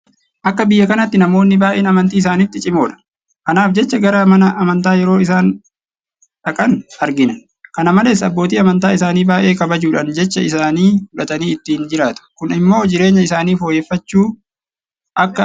Akka biyya kanaatti namoonni baay'een amantii isaaniitti cimoodha. Kanaaf jecha gara mana amantaa yeroo isaan dhaqan argina. Kana malees abbootii amantaa isaanii baay'ee kabajuudhaan jecha isaanii fudhatanii ittiin jiraatu. Kun immoo jireenya isaanii fooyyeffachuu akka qaban nutti mul'isa.